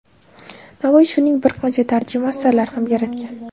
Navoiy shuning bir qancha tarjima asarlar ham yaratgan.